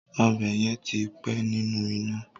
Ọ̀bẹ yẹn ti pẹ́ nínú iná.